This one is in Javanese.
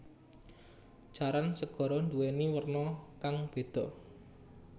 Jaran segara nduwèni werna kang béda